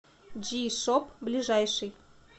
джи шоп ближайший